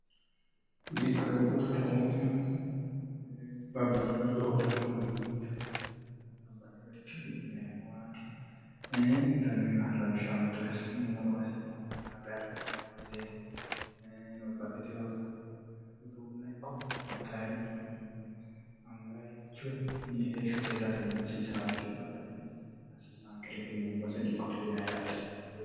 dikkole ubbutu ktinn babbaihoddohoora mino uduunnicho yaate labbahiyericho kidhineemmowaati uddanniimah lawishsha mittore hasi'nummoro hasi'mmmore mare finemmo baseeti lobbaitihoot uduunna ikko tayiricho hangayierichu ni heeshshote hirate yine hasiisa ha'richu baalarenni hasiisaanke reehinemmo base dikkote yine yaate